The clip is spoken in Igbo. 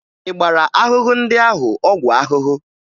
Ị gbara ahụhụ ndị ahụ ọgwụ ahụhụ?